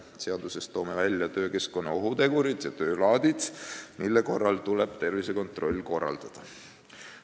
Toome seaduses välja töökeskkonna ohutegurid ja töö laadid, mille korral tuleb tervisekontroll korraldada.